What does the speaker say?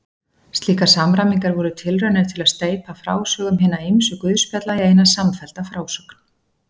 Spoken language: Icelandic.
Slíkar samræmingar voru tilraunir til að steypa frásögum hinna ýmsu guðspjalla í eina samfellda frásögn.